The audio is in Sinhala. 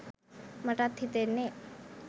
මටත් හිතෙන්නෙ